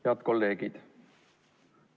Head kolleegid!